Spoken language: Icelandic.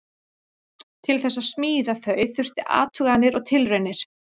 Til þess að smíða þau þurfti athuganir og tilraunir.